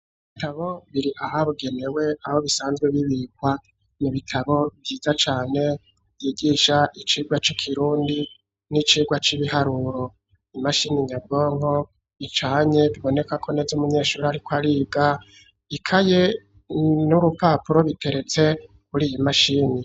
Ibitabo biri aha bugemewe aho bisanzwe bibikwa mu bitabo byiza cane yigisha icirwa c'ikirundi n'icirwa c'ibiharuro, imashini nyabwanko icanye biboneka ko neze umunyeshuri ariko ariga, ikaye n'urupapuro biteretse kuri iyi mashini.